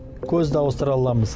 көзді ауыстыра аламыз